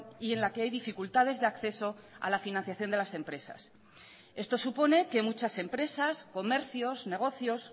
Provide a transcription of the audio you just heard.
y en la que hay dificultades de acceso a la financiación de las empresas esto supone que muchas empresas comercios negocios